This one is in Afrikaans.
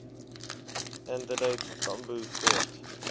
adelaide tambo kort